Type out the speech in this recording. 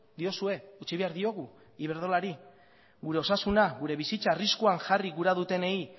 diozue utzi behar diogu iberdrolari gure osasuna gure bizitza arriskuan jarri gura dutenei